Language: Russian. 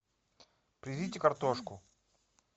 привезите картошку